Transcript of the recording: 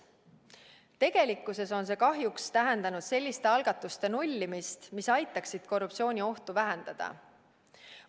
Tegelikkuses on see kahjuks tähendanud selliste algatuste nullimist, mis aitaksid korruptsiooniohtu vähendada.